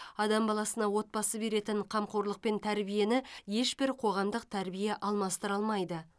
адам баласына отбасы беретін қамқорлық пен тәрбиені ешбір қоғамдық тәрбие алмастыра алмайды